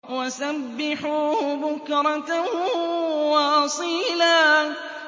وَسَبِّحُوهُ بُكْرَةً وَأَصِيلًا